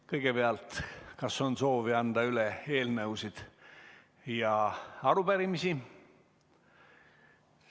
Kõigepealt, kas on soovi anda üle eelnõusid ja arupärimisi?